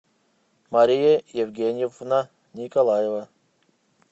мария евгеньевна николаева